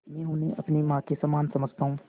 मैं उन्हें अपनी माँ के समान समझता हूँ